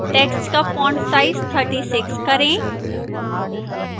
text का font size 36 करें